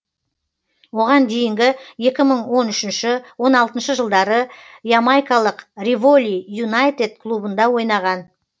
оған дейінгі екі мың он үшінші он алтыншы жылдары ямайкалық риволи юнайтед клубында ойнаған